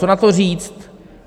Co na to říct?